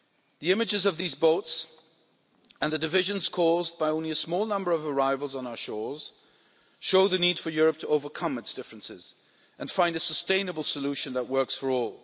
The images of these boats and the divisions caused by only a small number of arrivals on our shores show the need for Europe to overcome its differences and find a sustainable solution that works for all.